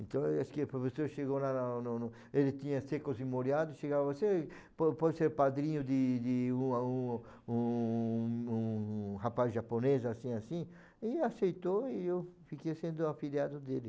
Então, acho que o professor chegou lá, no no, ele tinha, chegava assim, po pode ser padrinho de de um aluno um um um rapaz japonês, assim, assim, ele aceitou e eu fiquei sendo afilhado dele.